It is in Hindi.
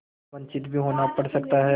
वंचित भी होना पड़ सकता है